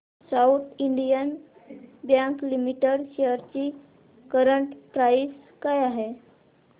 south Indian bank limited shares ची current price काय आहे